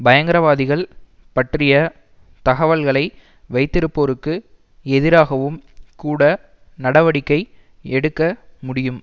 பயங்கரவாதிகள் பற்றிய தகவல்களை வைத்திருப்போருக்கு எதிராகவும் கூட நடவடிக்கை எடுக்க முடியும்